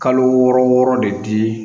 Kalo wɔɔrɔ wɔɔrɔ de di